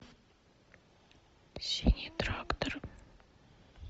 синий трактор